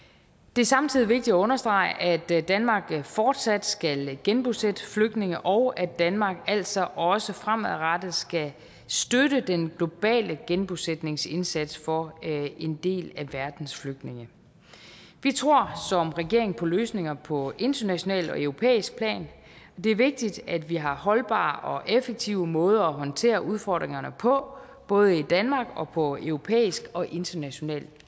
det er samtidig vigtigt at understrege at danmark fortsat skal genbosætte flygtninge og at danmark altså også fremadrettet skal støtte den globale genbosætningsindsats for en del af verdens flygtninge vi tror som regering på løsninger på internationalt og europæisk plan det er vigtigt at vi har holdbare og effektive måder at håndtere udfordringerne på både i danmark og på europæisk og internationalt